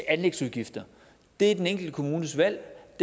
anlægsudgifter det er den enkelte kommunes valg og